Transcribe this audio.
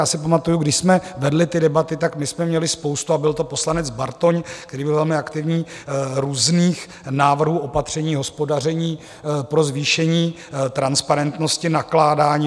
Já si pamatuju, když jsme vedli ty debaty, tak my jsme měli spoustu - a byl to poslanec Bartoň, který byl velmi aktivní - různých návrhů opatření, hospodaření pro zvýšení transparentnosti nakládání.